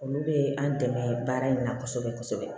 Olu bɛ an dɛmɛ baara in na kosɛbɛ kosɛbɛ